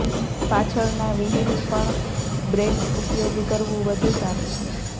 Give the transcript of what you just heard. પાછળના વ્હીલ પણ બ્રેક્સ ઉપયોગ કરવું વધુ સારું છે